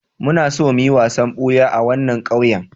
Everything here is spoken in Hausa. Muna so mu yi wasan buya a wannan ƙauyen.